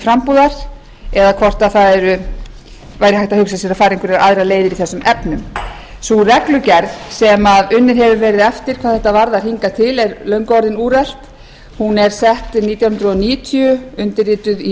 frambúðar eða hvort hægt væri að fara aðrar leiðir í þessum efnum sú reglugerð sem unnið hefur verið eftir hvað þetta varðar hingað til er löngu orðin úrelt hún er sett árið nítján hundruð níutíu undirrituð í